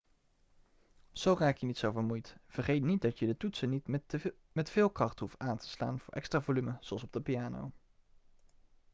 zo raak je niet zo vermoeid vergeet niet dat je de toetsen niet met veel kracht hoeft aan te slaan voor extra volume zoals op de piano